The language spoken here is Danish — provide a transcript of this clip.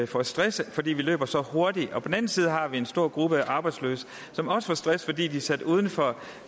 får stress fordi de løber så hurtigt på den anden side har vi en stor gruppe af arbejdsløse som også får stress fordi de er sat uden for